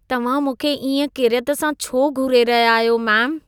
तव्हां मूंखे इएं किरियत सां छो घूरे रहिया आहियो मेम?